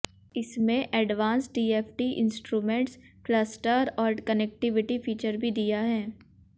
इसमें advance TFT instrument cluster और connectivity feature भी दिया है